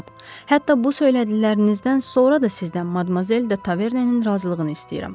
Cənab, hətta bu söylədiklərinizdən sonra da sizdən Madmazel de Tavernenin razılığını istəyirəm.